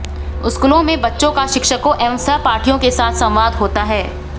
स्कूलों में बच्चों का शिक्षकों एवं सहपाठियों के साथ संवाद होता है